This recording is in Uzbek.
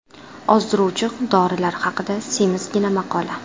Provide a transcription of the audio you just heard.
Ozdiruvchi dorilar haqida semizgina maqola.